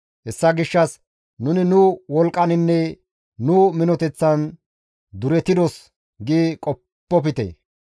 Hessa gishshas, «Nuni nu wolqqaninne nu minoteththan duretidos» gi qoppofte.